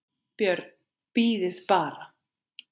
BJÖRN: Bíðið bara!